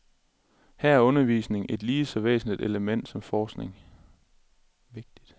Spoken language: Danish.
Her er undervisning et lige så vægtigt element som forskning.